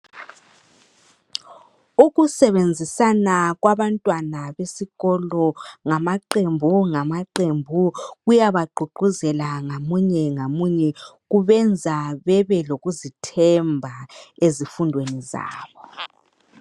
Ukusebenzisa kwabantwana besikolo ngamaqembu ngama qembu kuyaba gqugquzela ngamunye ngamunye, kubenza bebe lokuzithemba ezifundweni zabo.